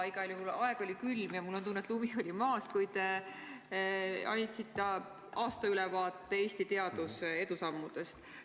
Igal juhul aeg oli külm ja mul on tunne, et lumi oli maas, kui te andsite aastaülevaate Eesti teaduse edusammudest.